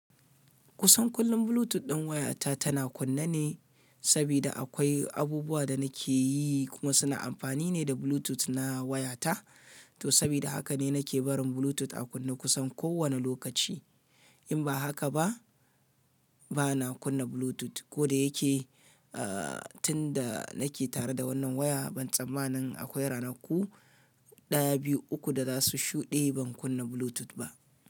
Kusan kullum Bluetooth ɗin wayata tana kunna ne, saboda akwai abubuwa da nake yi kuma suna amfani ne da Bluetooth na wayata. To saboda haka ne nake barin Bluetooth a kunne kusan kowane lokaci. In ba haka ba, ba na kunna Bluetooth. Ko da yake, aa, tun da nake tare da wannan waya ban tsammani akwai ranaku ɗaya, biyu, uku da za su shuɗe ban kunna Bluetooth ba.